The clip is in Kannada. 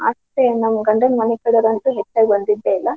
ಅಷ್ಟ್ ನಮ್ಮ್ ಗಂಡನ್ ಮನಿ ಕಡೆದವ್ರ ಅಂತೂ ಹೆಚ್ಚಾಗಿ ಬಂದಿದ್ದೆಯಿಲ್ಲ.